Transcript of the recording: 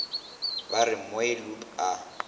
ba re mooi loop a